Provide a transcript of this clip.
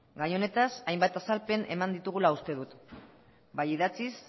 gai honetaz hainbat azalpen eman ditugula uste dut bai idatziz